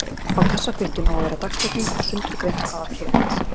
Á kassakvittun á að vera dagsetning og sundurgreint hvað var keypt.